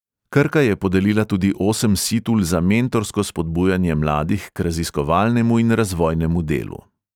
Krka je podelila tudi osem situl za mentorsko spodbujanje mladih k raziskovalnemu in razvojnemu delu.